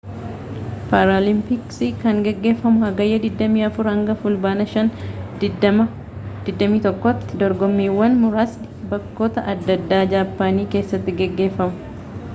paaraalimpiksii kan gaggeeffamu hagayyaa 24 hanga fulbaana 5 2021’ti. dorgommiiwwan muraasni bakkoota adda addaa jaapaanii keessatti gaggeeffamu